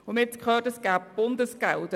Man hat gehört, es gebe Bundesgelder.